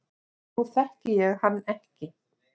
Nú þekki ég ekki hann